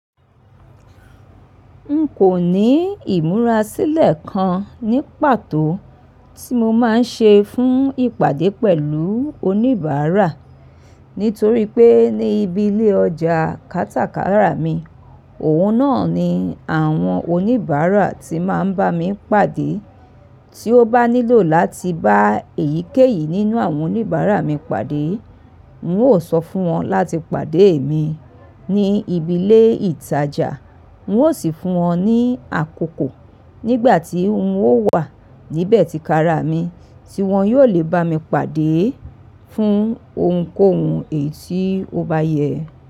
N kò ní ìmúrasílẹ̀ kan ní pàtó tí mo máa ń ṣe fún ìpàdé pẹ̀lú oníbàárà, nítorí pé ní ibi ilé ọjà kátàkárà mi, òun náà ni àwọn oníbàárà tí máa ń bá mi pàdé. Tí ó bá nílò láti bá èyíkéyìí nínú àwọn oníbàárà mi pàdé, mo ó sọ fún wọn láti pàdé mi ní ibi ilé ìtajà, mo ó sì fún wọn ní àkókò. Nígbà tí n ó wà níbẹ̀ ti kárà mi tí wọ́n yóò le bá mi pàdé fún ohunkóhun èyí tí ó bá yẹ.